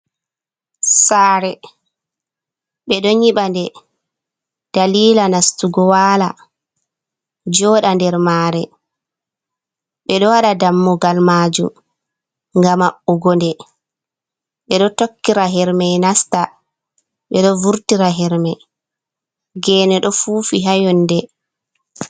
Sare ɓeɗo nyiɓa nde dalila nastugo wala, joɗa nder mare, ɓeɗo waɗa dammugal majum, ngam maɓɓugo nde, ɓeɗo tokkira herme nasta, ɓeɗo vurtira herme gene ɗo fufi hayonde.